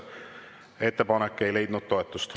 Ettepanek ei leidnud toetust.